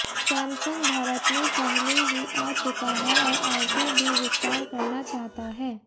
Samsung Bharat में पहले ही आ चुका है और आगे भी विस्तार करना चाहता है